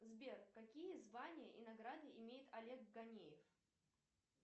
сбер какие звания и награды имеет олег ганеев